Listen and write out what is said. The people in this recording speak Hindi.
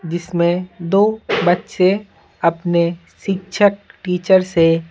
जिसमें दो बच्चे अपने शिक्षक टीचर से--